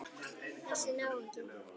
Þessi náungi.